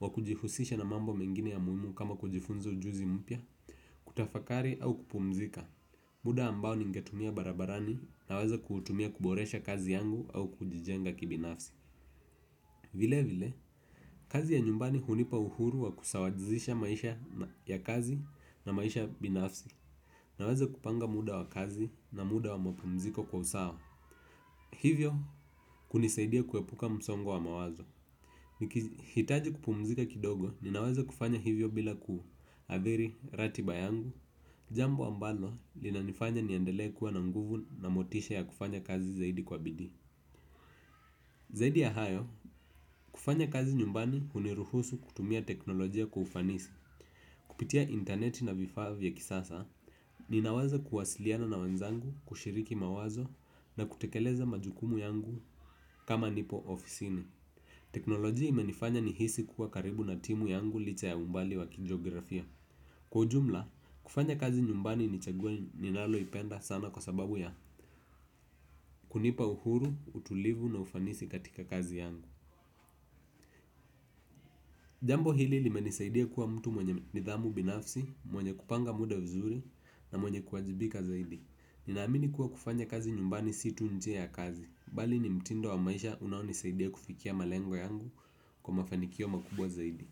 wa kujihusisha na mambo mengine ya muhimu kama kujifunza ujuzi mpya. Kutafakari au kupumzika muda ambao ningetumia barabarani naweza kutumia kuboresha kazi yangu au kujijenga kibinafsi. Vile vile, kazi ya nyumbani hunipa uhuru wa kusawajizisha maisha ya kazi na maisha binafsi. Naweza kupanga muda wa kazi na muda wa mapumziko kwa usawa. Hivyo kunisaidia kuepuka msongo wa mawazo hitaji kupumzika kidogo ninaweza kufanya hivyo bila ku averi, ratiba yangu, jambo ambalo lina nifanya niandelee kuwa na nguvu na motisha ya kufanya kazi zaidi kwa bidii. Zaidi ya hayo, kufanya kazi nyumbani uniruhusu kutumia teknolojia kwa fanisi kupitia interneti na vifaa vya kisasa ninawaza kuwasiliana na wenzangu, kushiriki mawazo na kutekeleza majukumu yangu kama nipo ofisini. Teknolojia imenifanya nihisi kuwa karibu na timu yangu licha ya umbali wa kijografia. Kwa ujumla, kufanya kazi nyumbani nichaguo ninalo ipenda sana kwa sababu ya kunipa uhuru, utulivu na ufanisi katika kazi yangu. Jambo hili limenisaidia kuwa mtu mwenye nidhamu binafsi, mwenye kupanga muda vizuri na mwenye kuwajibika zaidi. Ninaamini kuwa kufanya kazi nyumbani si tu nje ya kazi bali ni mtindo wa maisha unaoni saidia kufikia malengo yangu kwa mafanikio makubwa zaidi.